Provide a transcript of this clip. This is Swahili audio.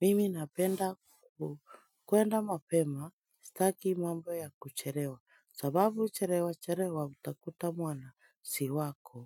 Mimi napenda kwenda mapema sitaki mambo ya kuchelewa. Sababu chelewa chelewa utakuta mwana si wako.